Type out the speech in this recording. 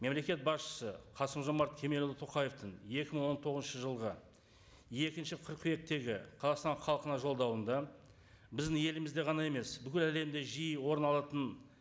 мемлекет басшысы қасым жомарт кемелұлы тоқаевтың екі мың он тоғызыншы жылғы екінші қыркүйектегі қазақстан халқына жолдауында біздің елімізде ғана емес бүкіл әлемде жиі орын алатын